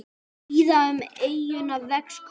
Víða um eyjuna vex kúmen.